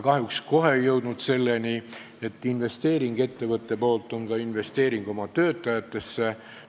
Kahjuks ei jõudnud me kohe selleni, et ettevõtte investeering on ka investeering oma töötajatesse.